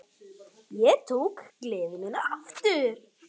Ég tók gleði mína aftur.